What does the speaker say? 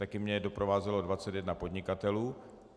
Také mě doprovázelo 21 podnikatelů.